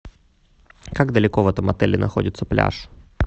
как далеко в этом отеле находится пляж